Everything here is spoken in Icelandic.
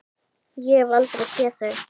Ég hef aldrei séð þau!